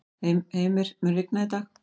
Heimir, mun rigna í dag?